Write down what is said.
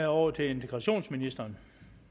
over til integrationsministeren